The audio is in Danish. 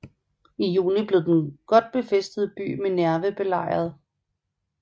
I juni blev den godt befæstede by Minerve belejret